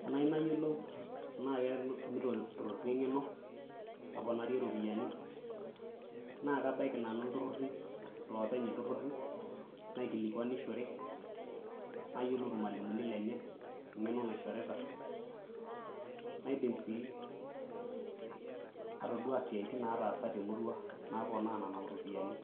Tenayieu nayiolou tenaa ketumito iltururi engeno naaa kabaiki nanu iltururi, lopeny irtururi naikilikwanishore , nayiolou irmwalimuni lenye engeno naishorita , naidim sii atoduaa siatin naataasa te murrua naponaa nena ropiyiani .